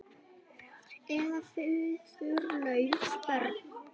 Eða föðurlaus börn.